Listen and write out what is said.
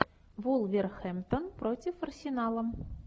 вулверхэмптон против арсенала